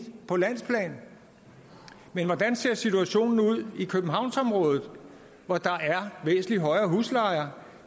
på landsplan men hvordan ser situationen ud i københavnsområdet hvor der er væsentlig højere huslejer